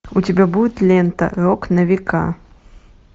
у тебя будет лента рок на века